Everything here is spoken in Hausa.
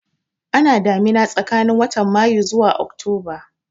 Ana damina tsakanin watan Mayu zuwa Oktoba